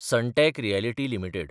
Sunteck Realty limited